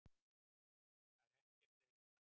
Þetta er ekkert leyniplagg